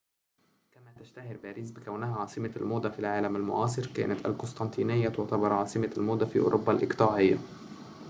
كما تشتهر باريس بكونها عاصمة الموضة في العالم المعاصر كانت القسطنطينيّة تُعتبر عاصمة الموضة في أوروبا الإقطاعيّة